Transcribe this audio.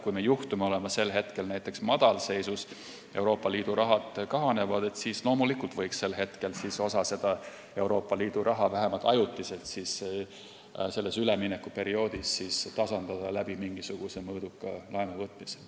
Kui me juhtume olema sel hetkel näiteks madalseisus, sest Euroopa Liidu raha kahaneb, siis loomulikult võiks sel hetkel osa raha sellel üleminekuperioodil vähemalt ajutiselt tasandada mingisuguse mõõduka laenuvõtmisega.